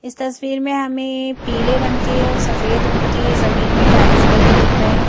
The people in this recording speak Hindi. इस तस्वीर में हमें पीले रंग के और सफेद रंग के जमीन में टाइल्स लगे दिख रहे हैं।